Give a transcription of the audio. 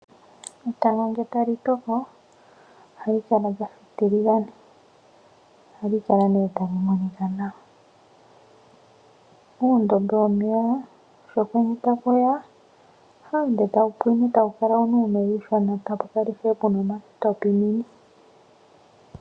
Etango ngele tali toko ohali kala lyafa etiligane. Ohali kala nee tali monika nawa. Uundombe womeya sho okwenye taku ya ohayi ende tawu pwine, tawu kala wuna uumeya uushona tapu kala puna ishewe omatwapinini.